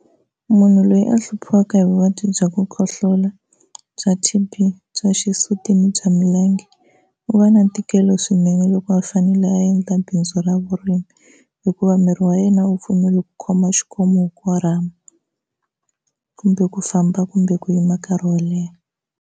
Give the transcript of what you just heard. Munhu loyi a hluphiwaka hi vuvabyi bya ku khohlola, bya T_B, bya xisuti ni bya milenge u va na ntikelo swinene loko a fanele a endla bindzu ra vurimi, hikuva miri wa yena a wu pfumeli ku khoma xikomu u korhama kumbe ku famba kumbe ku yima nkarhi wo leha.